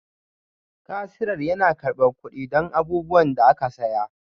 Kasirar yana karɓar kuɗi don abubuwan da aka saya